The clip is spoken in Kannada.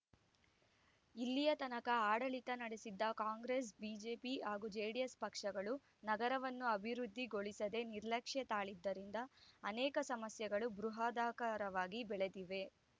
ಇಲ್ಲಿಯ ತನಕ ಆಡಳಿತ ನಡೆಸಿದ್ದ ಕಾಂಗ್ರೆಸ್ ಬಿಜೆಪಿ ಹಾಗೂ ಜೆಡಿಎಸ್ ಪಕ್ಷಗಳು ನಗರವನ್ನು ಅಭಿವೃದ್ಧಿ ಗೊಳಿಸದೆ ನಿರ್ಲಕ್ಷ್ಯ ತಾಳಿದ್ದರಿಂದ ಅನೇಕ ಸಮಸ್ಯೆಗಳು ಬೃಹದಾಕಾರವಾಗಿ ಬೆಳೆದಿವೆ